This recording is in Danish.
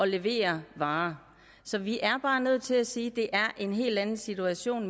leverer varer så vi er bare nødt til at sige at det er en helt anden situation